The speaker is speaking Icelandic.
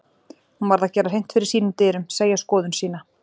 Hún varð að gera hreint fyrir sínum dyrum, segja skoðun sína.